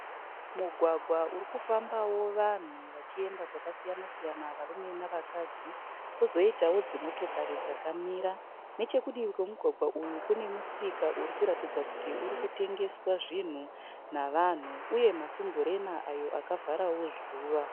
Mugwagwa uri kufambawo vanhu vachienda kwakasiyana-siyana varume navakadzi. Kwozoitawo dzimotikari dzakamira. Nechekudivi kwemugwagwa uyu kune musika uri kuratidza kuti uri kutengeswa zvinhu navanhu uye masumburena ayo akavharawo zuva.